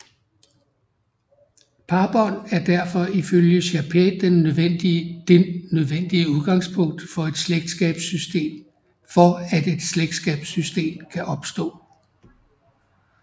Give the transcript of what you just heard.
Parbånd er derfor ifølge Chapais den nødvendige udgangspunkt for at et slægtskabssystem kan opstå